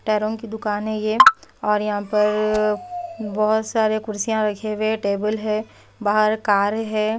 टायरों की दुकान है और यहां पर बहोत सारे कुर्सियां रखे हुए टेबल है। बाहर कार है।